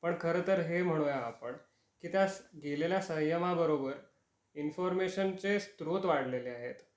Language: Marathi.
पण खर तर हे म्हणूया आपण कि त्या गेलेल्या संयमा बरोबर इन्फॉर्मशनचे स्त्रोत वाढलेले आहेत.